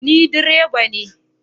Ni direban ne